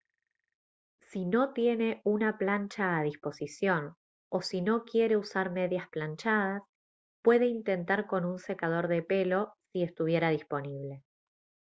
si no tiene una plancha a disposición o si no quiere usar medias planchadas puede intentar con un secador de pelo si estuviera disponible